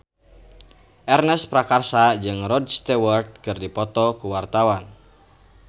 Ernest Prakasa jeung Rod Stewart keur dipoto ku wartawan